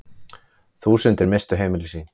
Þúsundir misstu heimili sín.